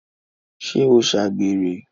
ṣé ó ṣàgbèrè?